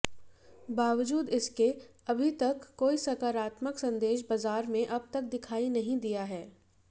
बावजूद इसके अभी तक कोई सकारात्मक संदेश बाजार में अब तक दिखाई नहीं दिया है